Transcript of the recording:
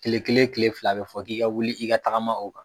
Tile kelen tile fila a bɛ fɔ k'i ka wuli k'i ka tagama o kan.